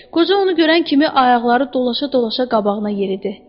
Qoca onu görən kimi ayaqları dolaşa-dolaşa qabağına yeridi.